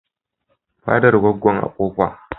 Faɗan Goggo a Kofa.